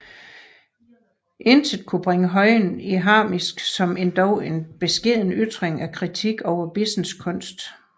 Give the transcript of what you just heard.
Intet kunne bringe Høyen i harnisk som endog en beskeden ytring af kritik over Bissens kunst